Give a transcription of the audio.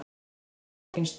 Þá kom upp flókin staða.